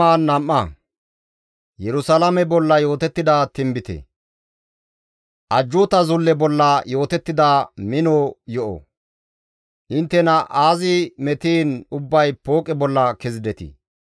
Ajjuuta zulle bolla yootettida mino yo7o; Inttena aazi metiin ubbay pooqe bolla kezidetii?